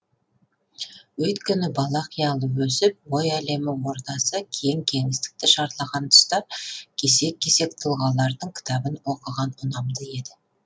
өйткені бала қиялы өсіп ой әлемі ордасы кең кеңістікті шарлаған тұста кесек кесек тұлғалардың кітабын оқыған ұнамды еді